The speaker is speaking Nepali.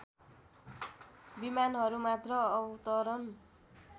विमानहरू मात्र अवतरण